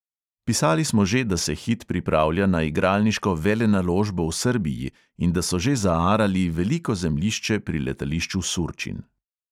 Pisali smo že, da se hit pripravlja na igralniško velenaložbo v srbiji in da so že zaarali veliko zemljišče pri letališču surčin.